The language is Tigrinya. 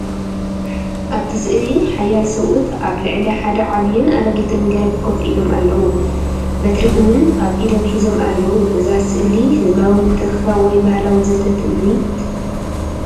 ኣብቲ ስእሊ ሓያሎ ሰብኡት ኣብ ልዕሊ ሓደ ዓቢን ኣረጊትን ገረብ ኮፍ ኢሎም ኣለዉ። በትሪ እውን ኣብ ኢዶም ሒዞም ኣለዉ። እዛ ስእሊ ህዝባዊ ምትእኽኻብ ወይ ባህላዊ ዘተ ትእምት።